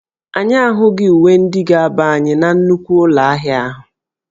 Anyị ahụghị uwe ndị ga-aba anyị na nnukwu ụlọ ahịa ahụ